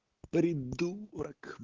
придурок